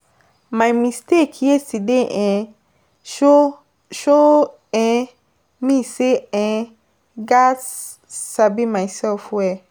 My mistake yesterday um show show um me sey um gatz sabi myself well.